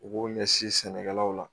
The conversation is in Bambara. U b'u ɲɛsin sɛnɛkɛlaw ma